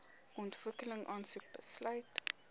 ontwikkeling aansoek besluit